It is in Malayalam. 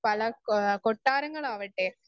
സ്പീക്കർ 1 പല കെ കൊട്ടാരങ്ങളാവട്ടെ